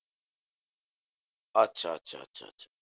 আচ্ছা আচ্ছা আচ্ছা আচ্ছা